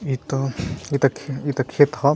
इत इत खे इत खेत ह।